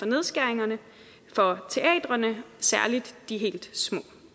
nedskæringerne for teatrene særlig de helt små